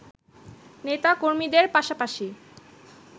নেতা-কর্মীদের পাশাপাশি